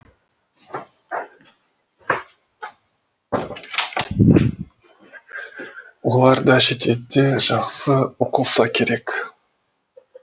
олар да шетелде жақсы оқылса керек